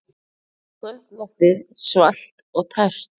Kvöldloftið svalt og tært.